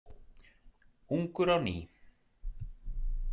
Ungur á ný.